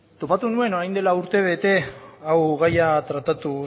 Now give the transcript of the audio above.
topatu nuen orain dela urtebete hau gaia tratatu